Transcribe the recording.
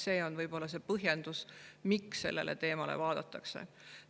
See on võib-olla see põhjendus, miks seda teemat üle vaadatakse.